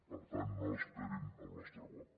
per tant no esperin el nostre vot